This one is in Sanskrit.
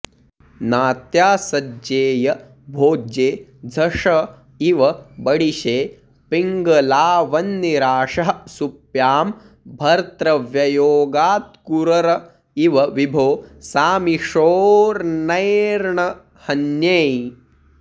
नात्यासज्जेय भोज्ये झष इव बडिशे पिङ्गलावन्निराशः सुप्यां भर्तव्ययोगात्कुरर इव विभो सामिषोऽन्यैर्न हन्यै